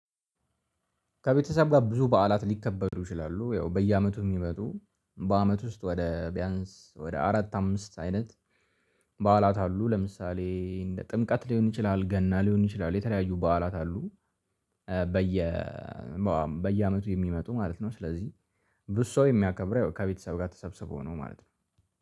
ከቤተሰብ ጋር ብዙ በዓላት ሊከበዱ ይችላሉ ያው በየአመቱ የሚመጡ በአመት ውስጥ ወደ ቢያንስ ወደ አራት አምስት አይነት በዓላት አሉ። ለምሳሌ እንደ ጥምቀት ሊሆን ይችላል ገና ሊሆን ይችላል የተለያዩ በዓላት አሉ። በየ በየአመቱ የሚመጡ ማለት ነው። ስለዚህ ብዙ ሰው የሚያከብረው ከቤተሰብ ጋር ተሰብስበው ነው ማለት ነው።